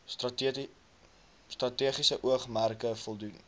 strategiese oogmerke voldoen